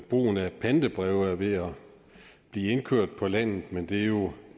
brugen af pantebreve er ved at blive indkørt på landet men det er jo